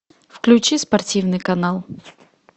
включи спортивный канал